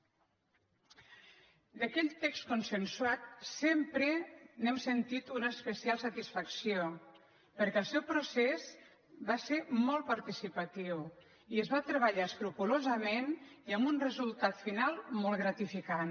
d’aquell text consensuat sempre n’hem sentit una especial satisfac·ció perquè el seu procés va ser molt participatiu i es va treballar escrupolosament i amb un resultat final molt gratificant